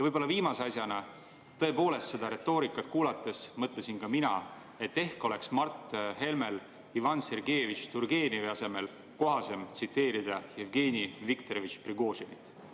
Ja viimase asjana, tõepoolest, seda retoorikat kuulates mõtlesin ka mina, et ehk oleks Mart Helmel Ivan Sergejevitš Turgenevi asemel kohasem tsiteerida Jevgeni Viktorovitš Prigožinit.